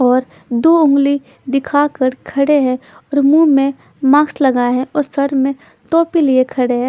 और दो ऊँगली दिखा कर खड़े है और मुह में मास्क लगाया है और सर पर टोपी लिए खड़े है।